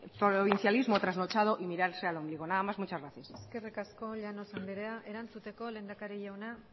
provincianismo trasnochado y mirarse al ombligo nada más muchas gracias eskerrik asko llanos anderea erantzuteko lehendakari jauna